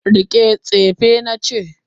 rike tsefena na ce!